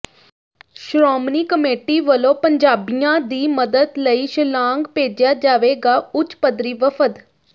Shiromani committee ਵੱਲੋਂ ਪੰਜਾਬੀਆਂ ਦੀ ਮਦਦ ਲਈ ਸ਼ਿਲਾਂਗ ਭੇਜਿਆ ਜਾਵੇਗਾ ਉਚ ਪੱਧਰੀ ਵਫ਼ਦ